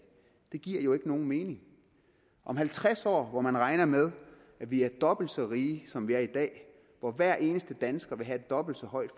det giver jo ikke nogen mening om halvtreds år hvor man regner med at vi er dobbelt så rige som vi er i dag hvor hver eneste dansker vil have dobbelt så højt